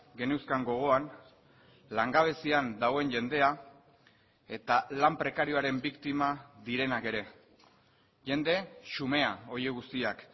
geneuzkan gogoan langabezian dagoen jendea eta lan prekarioaren biktima direnak ere jende xumea horiek guztiak